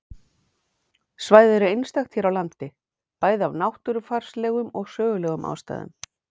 Svæðið er einstakt hér á landi, bæði af náttúrufarslegum og sögulegum ástæðum.